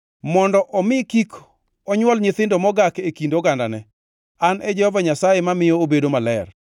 mondo omi kik onywol nyithindo mogak e kind ogandane. An e Jehova Nyasaye mamiyo obedo maler.’ ”